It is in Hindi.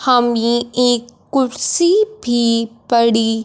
हम ये एक कुर्सी भी पड़ी--